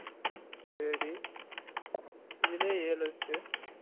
சேரி இதுலையே எழு ஆய்ருச்சு